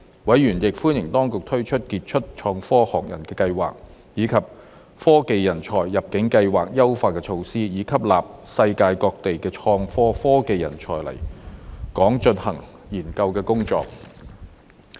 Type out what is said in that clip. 委員亦歡迎當局推出傑出創科學人計劃，以及科技人才入境計劃優化措施，以吸納世界各地的創科科技人才來港進行研究工作。